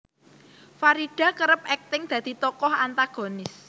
Farida kerep akting dadi tokoh antagonis